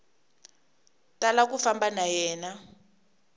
tala ku famba na yena